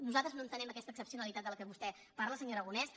nosaltres no entenem aquesta excepcionalitat de què vostè parla senyor aragonès